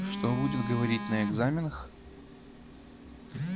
что будет говорить на экзаменах